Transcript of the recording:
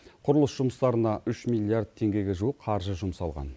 құрылыс жұмыстарына үш миллиард теңгеге жуық қаржы жұмсалған